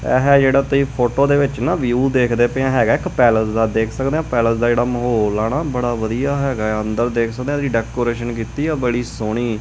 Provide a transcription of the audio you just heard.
ਇਹ ਜਿਹੜਾ ਤੁਸੀਂ ਫੋਟੋ ਦੇ ਵਿੱਚ ਨਾ ਵਿਊ ਦੇਖਦੇ ਪਏ ਹੈਗਾ ਇੱਕ ਪੈਲਸ ਦਾ ਦੇਖ ਸਕਦੇ ਪੈਲਸ ਦਾ ਜਿਹੜਾ ਮਾਹੌਲ ਆ ਨਾ ਬੜਾ ਵਧੀਆ ਹੈਗਾ। ਅੰਦਰ ਦੇਖ ਸਕਦੇ ਆ ਡੈਕੋਰੇਸ਼ਨ ਕੀਤੀ ਆ ਬੜੀ ਸੋਹਣੀ।